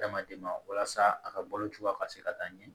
Adamaden ma walasa a ka balo cogoya ka se ka taa ɲɛ